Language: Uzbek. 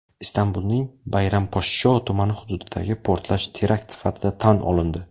Istanbulning Bayramposhsho tumani hududidagi portlash terakt sifatida tan olindi.